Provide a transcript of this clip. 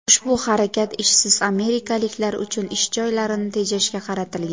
Ushbu harakat ishsiz amerikaliklar uchun ish joylarini tejashga qaratilgan.